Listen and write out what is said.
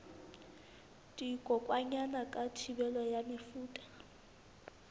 dikokwanyana ka thibelo ya mefuta